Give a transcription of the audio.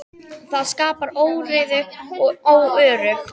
Það skapar óreiðu og er óöruggt.